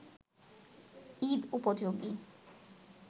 ঈদ-উপযোগী